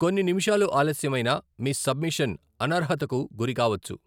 కొన్ని నిమిషాలు ఆలస్యమైనా, మీ సబ్మిషన్ అనర్హతకు గురి కావొచ్చు.